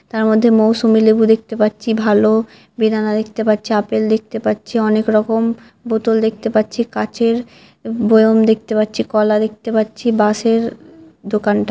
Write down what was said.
তার মধ্যে মৌসুমী লেবু দেখতে পাচ্ছি ভালো বেদানা দেখতে পাচ্ছি আপেল দেখতে পাচ্ছি অনেক রকম বোতল দেখতে পাচ্ছি কাচের বয়ম দেখতে পাচ্ছি কলা দেখতে পাচ্ছি বাস - এর দোকানটাই ।